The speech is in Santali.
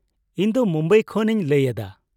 ᱤᱧ ᱫᱚ ᱢᱩᱢᱵᱟᱭ ᱠᱷᱚᱱ ᱤᱧ ᱞᱟᱹᱭ ᱮᱫᱟ ᱾